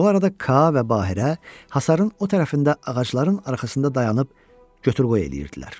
Bu arada Ka və Bahira hasarın o tərəfində ağacların arxasında dayanıb göt-qoy eləyirdilər.